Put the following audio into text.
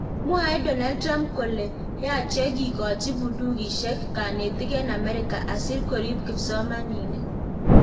Mwae Donald Trump kole; yache kikochi bundukisiek kanetik en America asikorip kipsomaniik